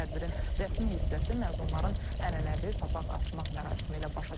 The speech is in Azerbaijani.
Tədbirin rəsmi hissəsi məzunların ənənəvi papaq atmaq mərasimi ilə başa çatıb.